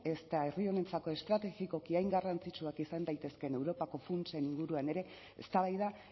ezta herri honentzako estrategikoki hain garrantzitsuak izan daitezkeen europako funtsen inguruan ere eztabaida